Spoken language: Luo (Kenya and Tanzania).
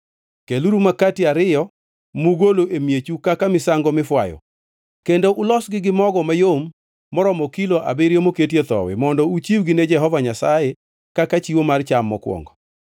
Keluru makati ariyo mugolo e miechu kaka misango mifwayo, kendo ulosgi gi mogo mayom moromo kilo abiriyo moketie thowi, mondo uchiwgi ne Jehova Nyasaye kaka chiwo mar cham mokwongo.